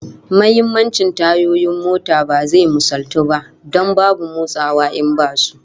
Muhimmancin tayoyin mota ba zai misaltu ba, don babu motsawa in basu